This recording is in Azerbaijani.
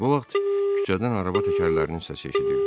Bu vaxt küçədən araba təkərlərinin səsi eşidildi.